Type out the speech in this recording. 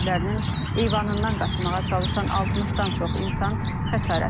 evlərinin eyvanından qaçmağa çalışan 60-dan çox insan xəsarət alıb,